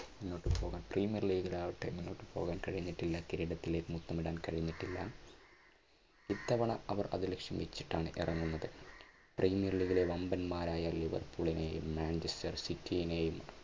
മുന്നോട്ടു പോകാൻ premier league ൽ ആകട്ടെ മുന്നോട്ടു പോകാൻ കഴിഞ്ഞിട്ടില്ല. കിരീടത്തിൽ മുത്തമിടാൻ കഴിഞ്ഞിട്ടില്ല. ഇത്തവണ അവർ അത് ലക്ഷ്യം വെച്ചിട്ടാണ് ഇറങ്ങുന്നത്. പ്രീമിയർ ലീഗിലെ വൻപന്മാരായ ലിവർപൂളിനെയും മാഞ്ചസ്റ്റർ സിറ്റിനെയും